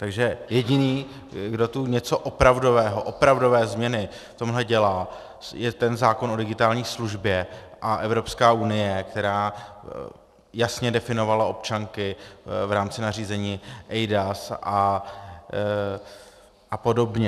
Takže jediný, kdo tu něco opravdového, opravdové změny v tomhle dělá, je ten zákon o digitální službě a Evropská unie, která jasně definovala občanky v rámci nařízení eIDAS a podobně.